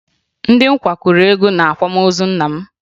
Ndị nkwa kụrụ egwu n'akwamozi nna m